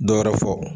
Dɔ wɛrɛ fɔ